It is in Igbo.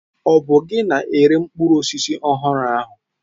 Ọ bụ gị na-ere mkpụrụ osisi ọhụrụ ahụ?